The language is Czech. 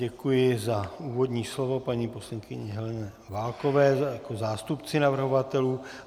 Děkuji za úvodní slovo paní poslankyni Heleně Válkové jako zástupci navrhovatelů.